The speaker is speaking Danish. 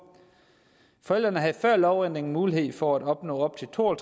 forældrene havde før lovændringen mulighed for at opnå op til to og